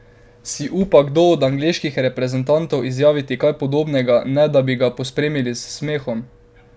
Si upa kdo od angleških reprezentantov izjaviti kaj podobnega, ne da bi ga pospremili s smehom?